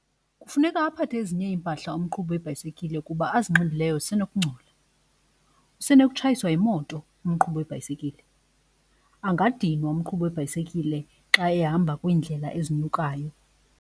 Kufuneka aphathe ezinye iimpahla umqhubi webhayisikile kuba azinxibileyo zisenokungcola. Usenokutshayiswa yimoto umqhubi webhayisikile, angadinwa umqhubi webhayisikile xa ehamba kwiindlela ezinyukayo.